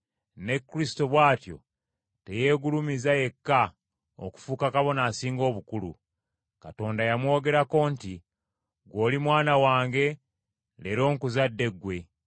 Ne Kristo bw’atyo teyeegulumiza yekka, okufuuka Kabona Asinga Obukulu. Katonda yamwogerako nti, “Ggwe oli Mwana wange, leero nkuzadde ggwe.”